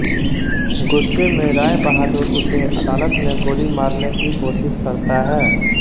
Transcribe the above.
गुस्से में राय बहादुर उसे अदालत में गोली मारने की कोशिश करता है